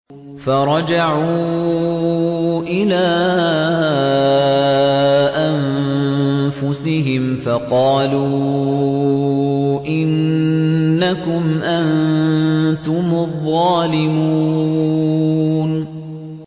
فَرَجَعُوا إِلَىٰ أَنفُسِهِمْ فَقَالُوا إِنَّكُمْ أَنتُمُ الظَّالِمُونَ